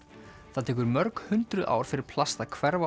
það tekur mörg hundruð ár fyrir plast að hverfa